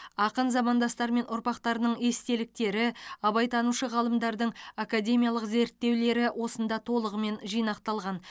ақын замандастары мен ұрпақтарының естеліктері абайтанушы ғалымдардың академиялық зерттеулері осында толығымен жинақталған